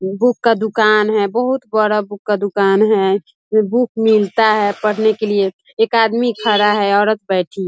book का दुकान है बहुत बड़ा बुक का दुकान है बुक मिलता है पढ़ने के लिए एक आदमी खड़ा है औरत बैठी --